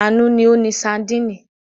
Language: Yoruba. Àánú ni ó ni sadínì.